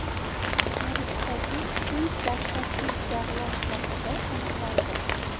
Tarixdagi eng dahshatli jag‘lar sohibi aniqlandi.